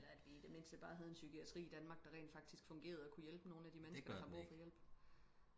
eller at vi i det mindste bare havde en psykiatri i danmark der rent faktisk fungerede og kunne hjælpe nogle af de mennesker der har brug for hjælp